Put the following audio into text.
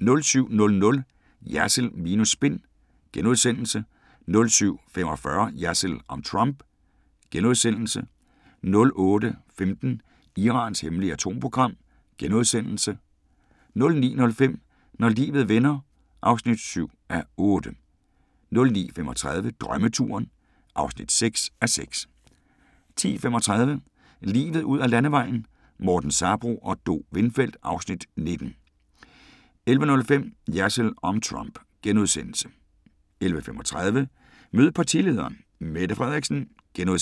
07:00: Jersild minus spin * 07:45: Jersild om Trump * 08:15: Irans hemmelige atomprogram * 09:05: Når livet vender (7:8) 09:35: Drømmeturen (6:6) 10:35: Livet ud ad landevejen: Morten Sabroe og Do Windfeldt (Afs. 19) 11:05: Jersild om Trump * 11:35: Mød partilederen: Mette Frederiksen * 12:10: